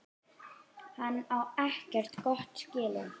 Hann á ekkert gott skilið.